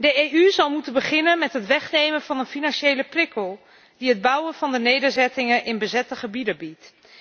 De EU zal moeten beginnen met het wegnemen van een financiële prikkel die het bouwen van de nederzettingen in bezette gebieden biedt.